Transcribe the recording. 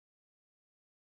Elsku Konni afi.